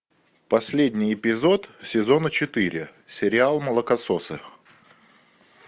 последний эпизод сезона четыре сериал молокососы